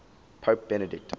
pope benedict